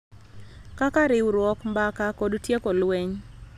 Kaka riwruok, mbaka, kod tieko lweny,